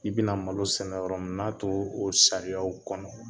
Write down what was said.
I bɛna malo sɛnɛ yɔrɔ min n'a to o sariyaw kɔnɔ